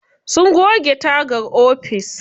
Suna goge tagar ofis.